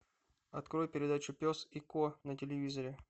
открой передачу пес и кот на телевизоре